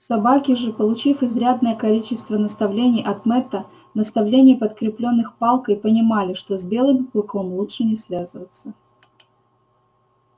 собаки же получив изрядное количество наставлений от мэтта наставлений подкреплённых палкой понимали что с белым клыком лучше не связываться